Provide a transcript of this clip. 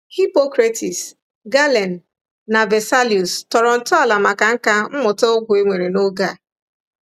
Hippocrates, Galen, na Vesalius tọrọ ntọala maka nkà mmụta ọgwụ e nwere n’oge a.